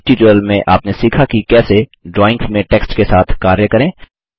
इस ट्यूटोरियल में आपने सीखा कि कैसे ड्राइंग्स में टेक्स्ट के साथ कार्य करें